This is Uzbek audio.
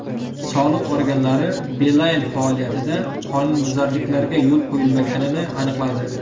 Soliq organlari Beeline faoliyatida qonunbuzarliklarga yo‘l qo‘yilmaganini aniqladi.